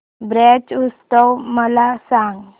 ब्रज उत्सव मला सांग